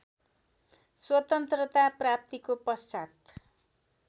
स्वतन्त्रता प्राप्तिको पश्चात्